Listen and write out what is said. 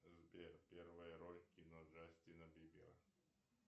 сбер первая роль в кино джастина бибера